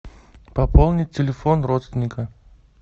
пополнить телефон родственника